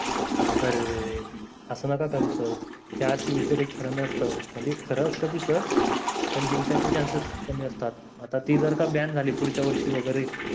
अरेरेरे, असं नका करू sir या rcb च काही खार नसतं म्हणजे खार असत तिचं पण जिंकायचं chances कमी असतात आता ती जर का ban झाली पुढच्या वर्षी वगैरे